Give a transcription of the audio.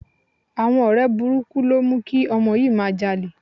Àwọn ọ̀rẹ́ burúkú ló mú kí ọmọ yìí máa jalè